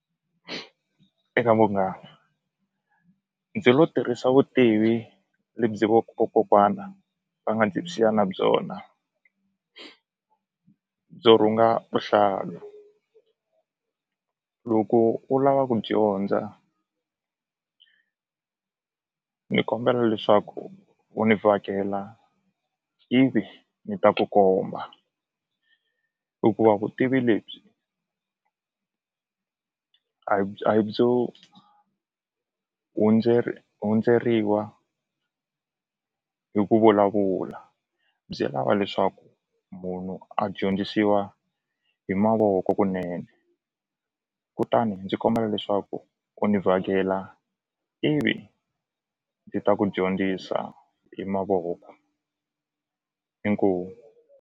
Eka munghana ndzi lo tirhisa vutivi vokokwana va nga ndzi siya na byona byo rhunga vuhlalu loko u lava ku dyondza ni kombela leswaku u ni vhakela ivi ni ta ku komba hikuva vutivi lebyi a hi byo hundzeriwa hi ku vulavula byi lava leswaku munhu a dyondzisiwa hi mavoko kunene kutani ndzi kombela leswaku u ni vhakela ivi ndzi ta ku dyondzisa hi mavoko inkomu.